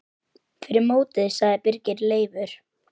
Fyrir mótið sagði Birgir Leifur.